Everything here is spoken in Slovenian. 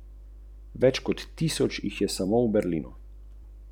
A iz muhe ne gre delati slona in iz poraza ne tragedije.